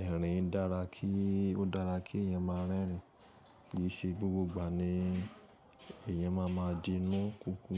ẹ̀rín dára kí, ó dára kí ẹ̀ má a rẹ́rìn. Kì í ṣe gbogbo ìgbà ni ẹ̀yàn má a máa di inú kúkú.